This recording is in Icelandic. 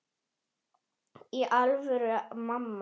Í alvöru, mamma.